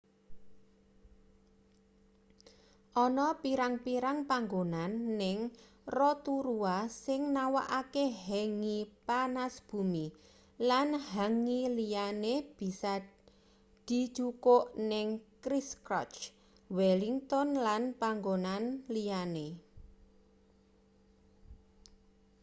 ana pirang-pirang panggonan ning rotorua sing nawakke hangi panas bumi lan hangi liyane bisa dijukuk ning christchurch wellington lan panggonan liyane